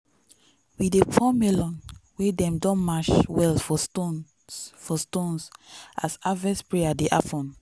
we dey pour melon wey dem don mash well for stones for stones as harvest prayer dey happen.